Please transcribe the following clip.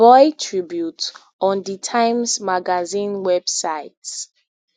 boy tribute on di times magazine website